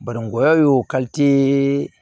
Bananguya y'o